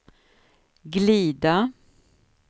glida